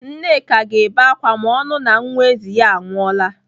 Nneka ga-ebe ákwà ma ọ nụụ na nwa ezi ya anwụọla.